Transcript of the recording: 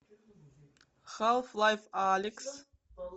халф лайф алекс